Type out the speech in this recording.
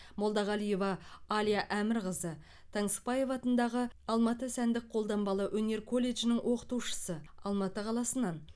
молдагалиева аля әмірқызы таңсықбаев атындағы алматы сәндік қолданбалы өнер колледжінің оқытушысы алматы қаласынан